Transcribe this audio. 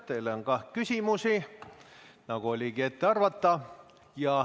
Teile on ka küsimusi, nagu oligi ette arvata.